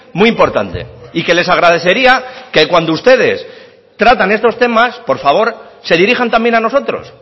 muy importante y que les agradecería que cuando ustedes tratan estos temas por favor se dirijan también a nosotros